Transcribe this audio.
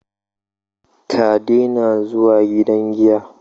Ka daina zuwa gidan giya